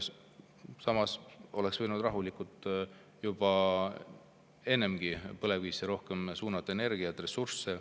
Samas oleks võinud rahulikult juba varem suunata põlevkivisse rohkem ressursse.